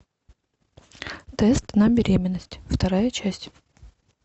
тест на беременность вторая часть